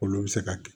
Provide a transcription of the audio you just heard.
Olu bɛ se ka kɛ